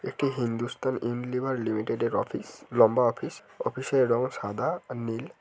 এটি হিন্দুস্থান ইউনিলিভার লিমিটেডের অফিস । লম্বা অফিস । অফিস -এর রঙ সাদা আর নীল।